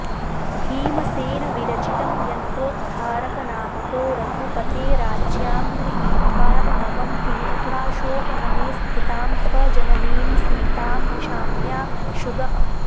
भीमसेनविरचितम् यन्त्रोद्धारकनामको रघुपतेराज्ञां गृहीत्वार्णवं तीर्त्वाशोकवने स्थितां स्वजननीं सीतां निशाम्याशुगः